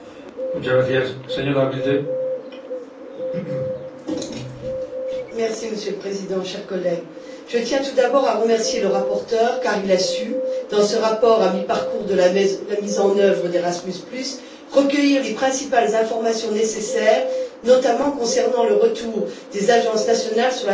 Monsieur le Président, chers collègues, je tiens tout d'abord à remercier le rapporteur car il a su, dans ce rapport à mi parcours de la mise en œuvre d'Erasmus recueillir les principales informations nécessaires, notamment celles concernant le retour des agences nationales sur la transition avec les précédents programmes et leurs attentes concernant les améliorations nécessaires.